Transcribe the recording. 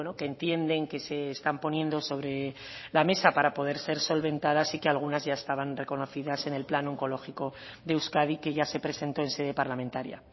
que entienden que se están poniendo sobre la mesa para poder ser solventadas y que algunas ya estaban reconocidas en el plan oncológico de euskadi que ya se presentó en sede parlamentaria